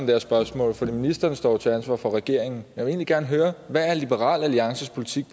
her spørgsmål for ministeren står jo til ansvar for regeringen jeg vil egentlig gerne høre hvad liberal alliances politik